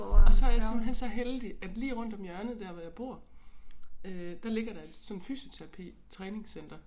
Og så er jeg simpelthen så heldig at lige rundt om hjørnet dér hvor jeg bor øh der ligger der et sådan fysioterapi træningscenter